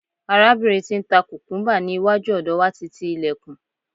arabinrin ti n ta kukumba ni iwaju ọdọ wa ti ti ilekun